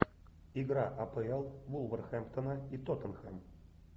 игра апл вулверхэмптона и тоттенхэм